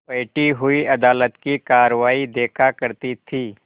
बैठी हुई अदालत की कारवाई देखा करती थी